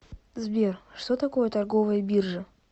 сбер что такое торговая биржа